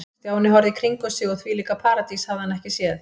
Stjáni horfði í kringum sig og þvílíka paradís hafði hann aldrei séð.